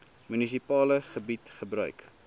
munisipale gebied gebruik